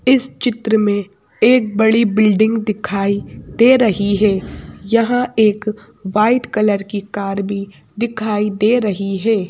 इस चित्र में एक बड़ी बिल्डिंग दिखाई दे रही है यहाँ एक वाइट कलर की कार भी दिखाई दे रही है।